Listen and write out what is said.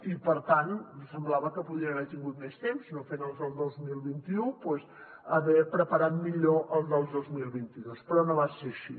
i per tant semblava que podia haver tingut més temps no fent els del dos mil vint u doncs haver preparat millor els del dos mil vint dos però no ha estat així